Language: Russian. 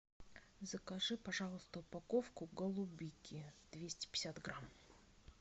закажи пожалуйста упаковку голубики двести пятьдесят грамм